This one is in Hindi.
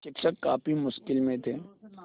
शिक्षक काफ़ी मुश्किल में थे